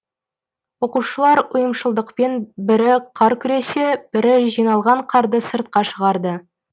оқушылар ұйымшылдықпен бірі қар күресе бірі жиналған қарды сыртқа шығарды